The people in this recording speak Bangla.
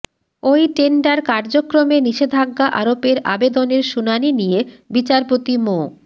ওই টেন্ডার কার্যক্রমে নিষেধাজ্ঞা আরোপের আবেদনের শুনানি নিয়ে বিচারপতি মো